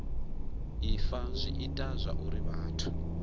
ifa zwi ita zwauri vhathu